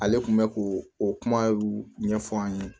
Ale kun bɛ ko o kuma ɲɛfɔ an ye